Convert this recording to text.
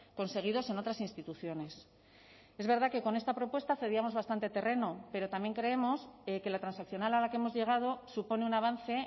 conseguidos en otras instituciones es verdad que con esta propuesta cedíamos bastante terreno pero también creemos que la transaccional a la que hemos llegado supone un avance